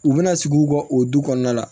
U bɛna sigi u ka o du kɔnɔna la